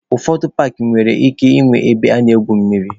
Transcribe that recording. Ụfọdụ paakị nwere ike nwee ebe a na-egwu mmiri.